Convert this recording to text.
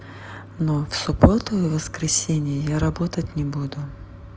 но в субботу и воскресенье я работать не буду